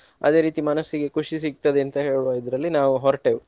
ಅದೇ ರೀತಿ ಮನಸ್ಸಿಗೆ ಖುಷಿ ಸಿಗ್ತದೆ ಅಂತ ಹೇಳುವುದ್ರಲ್ಲಿ ನಾವು ಹೊರಟೆವು.